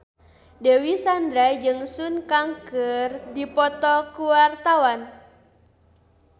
Dewi Sandra jeung Sun Kang keur dipoto ku wartawan